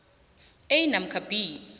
a namkha b